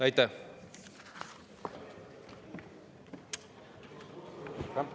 Aitäh!